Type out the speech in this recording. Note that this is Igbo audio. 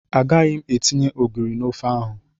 Agaghị m etinye ogiri na ofe ahụ.